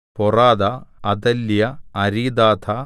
പോറാഥാ അദല്യാ അരീദാഥാ